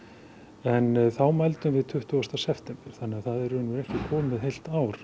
en þá mældum við tuttugasta september þannig það er ekki komið heilt ár